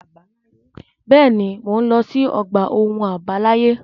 Bẹ́ẹ̀ ni, mò ń lọ sí ọgbà ohun àbáláyé.